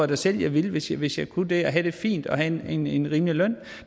da selv jeg ville hvis hvis jeg kunne det og have det fint og have en en rimelig løn